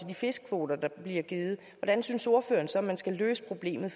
de fiskekvoter der bliver givet hvordan synes ordføreren så man skal løse problemet